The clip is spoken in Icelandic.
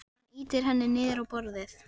Hann ýtir henni niður á borðið.